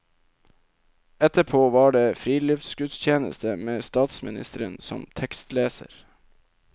Etterpå var det friluftsgudstjeneste med statsministeren som tekstleser.